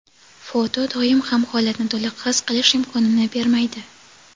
Foto doim ham holatni to‘liq his qilish imkonini bermaydi.